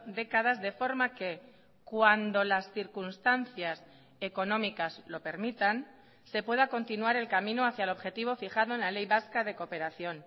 décadas de forma que cuando las circunstancias económicas lo permitan se pueda continuar el camino hacia el objetivo fijado en la ley vasca de cooperación